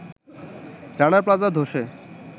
রানা প্লাজা ধসে